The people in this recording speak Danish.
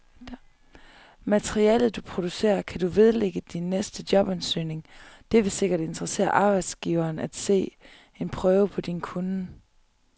Materialet, du producerer, kan du vedlægge din næste jobansøgning, det vil sikkert interessere arbejdsgiveren at se en prøve på din kunnen.